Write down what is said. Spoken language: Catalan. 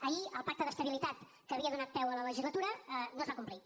ahir el pacte d’estabilitat que havia donat peu a la legislatura no es va complir